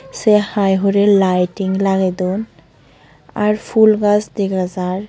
sey hai hurey laeting lagey don r pul gaj dega jar.